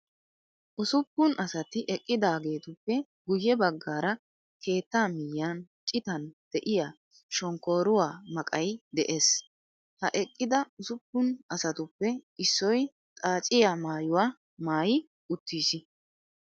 Usuppun asati eqqidaageetuppe guye baggaara keettaa miyyiyan citan de'iyaa shonkkooruwaa maqayi de'ees. Ha eqqida usuppun asatuppe issoy xaaciyaa maayuwaa maayi uttiis.